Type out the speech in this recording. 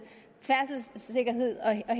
er